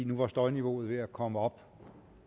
nu var støjniveauet ved at komme op